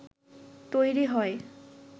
তৈরী হয়